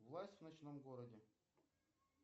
власть в ночном городе